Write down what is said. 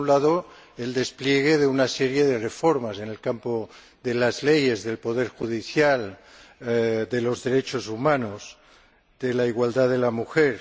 Por un lado, el despliegue de una serie de reformas en el campo de las leyes, del poder judicial, de los derechos humanos y de la igualdad de la mujer.